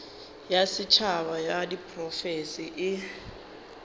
ya setšhaba ya diprofense e